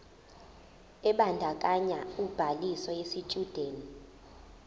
ebandakanya ubhaliso yesitshudeni